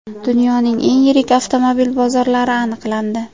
Dunyoning eng yirik avtomobil bozorlari aniqlandi.